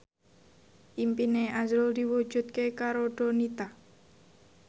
impine azrul diwujudke karo Donita